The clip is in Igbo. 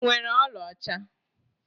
Ị nwere ọlaọcha?